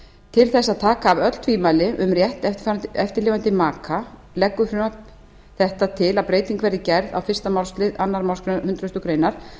til þess að taka af öll tvímæli um rétt eftirlifandi maka leggur frumvarp þetta til að breyting verði gerð á fyrsta málslið annarrar málsgreinar hundrað greinar